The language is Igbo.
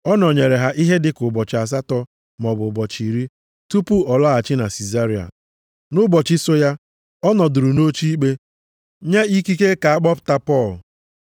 Ọ nọnyeere ha ihe dịka ụbọchị asatọ maọbụ ụbọchị iri, tupu ọ laghachi na Sizaria. Nʼụbọchị so ya, ọ nọdụrụ nʼoche ikpe, nye ikike ka a kpọpụta Pọl.